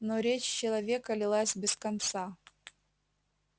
но речь человека лилась без конца